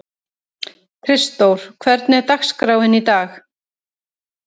Kristdór, hvernig er dagskráin í dag?